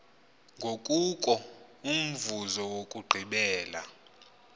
kungoko umvuzo wokugqibela